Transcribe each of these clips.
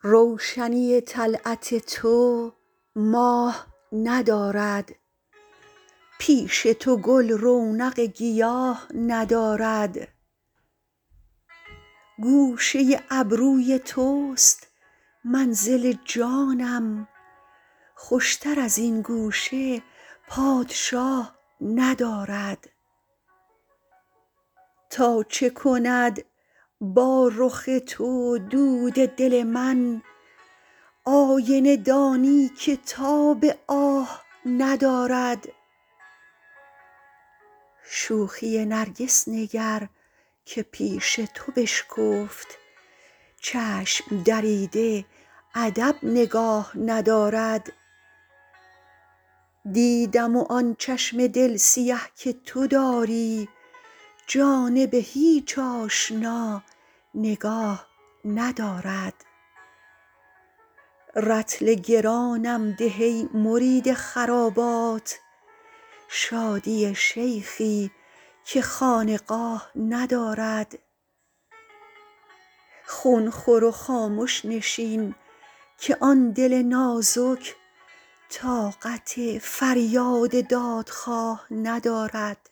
روشنی طلعت تو ماه ندارد پیش تو گل رونق گیاه ندارد گوشه ابروی توست منزل جانم خوشتر از این گوشه پادشاه ندارد تا چه کند با رخ تو دود دل من آینه دانی که تاب آه ندارد شوخی نرگس نگر که پیش تو بشکفت چشم دریده ادب نگاه ندارد دیدم و آن چشم دل سیه که تو داری جانب هیچ آشنا نگاه ندارد رطل گرانم ده ای مرید خرابات شادی شیخی که خانقاه ندارد خون خور و خامش نشین که آن دل نازک طاقت فریاد دادخواه ندارد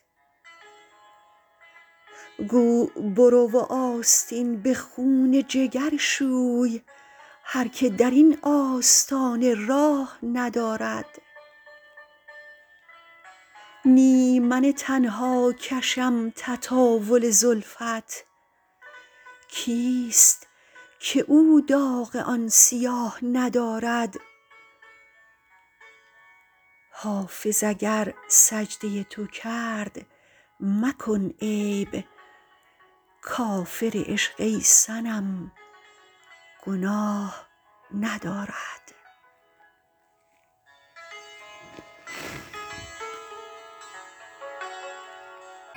گو برو و آستین به خون جگر شوی هر که در این آستانه راه ندارد نی من تنها کشم تطاول زلفت کیست که او داغ آن سیاه ندارد حافظ اگر سجده تو کرد مکن عیب کافر عشق ای صنم گناه ندارد